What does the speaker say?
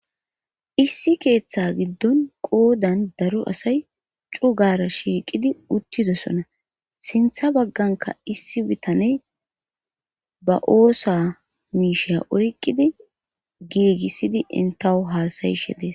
Issi keeththa giddon qoodan daro asay cugara shiiqidi uttidosona sintha bagganka issi bitane ba oosa miisha oyqqidi giigissidi intawo haasayishe dees.